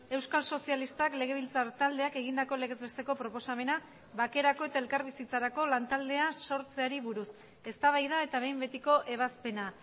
euskal sozialistak legebiltzar taldeak egindako legez besteko proposamena bakerako eta elkarbizitzarako lantaldea sortzeari buruz eztabaida eta behin betiko ebazpena